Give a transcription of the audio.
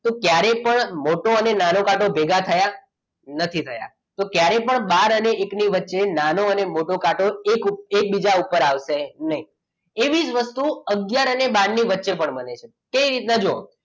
તો ત્યારે પણ મોટો અને નાનો કાંટો ભેગા થયા નથી થયા. તો ક્યારેય પણ બહાર અને એકની વચ્ચે નાનો અને મોટો કાંટો એકબીજા ઉપર આવશે નહીં એવી જ વસ્તુ આગયાર અને બાર ની વચ્ચે પણ બને છે કેવી રીતના તો જુઓ